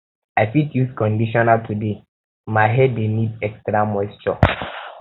i fit use conditioner today my hair um dey need extra um moisture